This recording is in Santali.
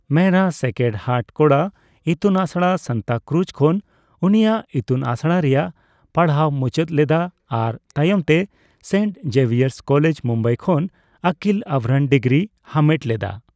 ᱢᱮᱦᱨᱟ ᱥᱮᱠᱨᱮᱰ ᱦᱟᱨᱴ ᱠᱚᱲᱟ ᱤᱛᱩᱱ ᱟᱥᱲᱟ , ᱥᱟᱱᱛᱟᱠᱨᱩᱡ ᱠᱷᱚᱱ ᱩᱱᱤᱭᱟᱜ ᱤᱛᱩᱱᱟᱥᱲᱟ ᱨᱮᱭᱟᱜ ᱯᱟᱲᱦᱟᱣ ᱢᱩᱪᱟᱹᱫ ᱞᱮᱫᱟ ᱟᱨ ᱛᱟᱭᱚᱢᱛᱮ ᱥᱮᱱᱴ ᱡᱮᱵᱷᱤᱭᱟᱨᱥ ᱠᱚᱞᱮᱡ, ᱢᱩᱢᱵᱟᱹᱭ ᱠᱷᱚᱱ ᱟᱹᱠᱤᱞ ᱟᱵᱷᱨᱟᱱ ᱰᱤᱜᱨᱤᱭ ᱦᱟᱢᱮᱴ ᱞᱮᱫᱟ ᱾